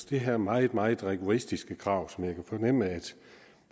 det her meget meget rigoristiske krav som jeg kan fornemme at